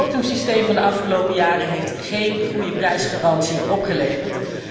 Het quotumsysteem van de afgelopen jaren heeft geen goede prijsgarantie opgeleverd.